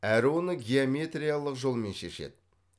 әрі оны геометриялық жолмен шешеді